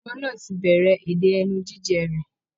Ọmọ náà ti bẹ̀rẹ̀ èdè ẹnu jíjẹ rẹ̀